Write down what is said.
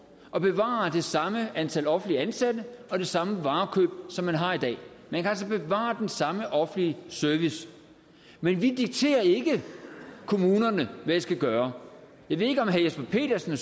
at bevare det samme antal offentligt ansatte og det samme varekøb som man har i dag man kan altså bevare den samme offentlige service men vi dikterer ikke kommunerne hvad de skal gøre jeg ved ikke om herre jesper petersen